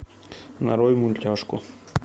нарой мультяшку